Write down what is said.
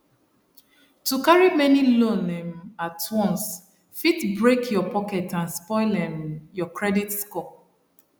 to carry many loan um at once fit break your pocket and spoil um your credit score